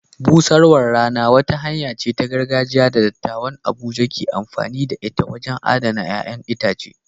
Busarwar rana wata hanya ce ta gargajiya da dattawan Abuja ke amfani da ita wajen adana ƴaƴan itace.